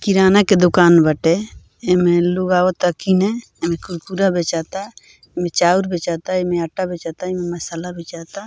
किराना के दुकान बाटे एमें लोग आवता किने एमे कुरकुरे बेचाता एमे चाउर बेचता एमे आटा बेचता एमे मसाला बेचाता।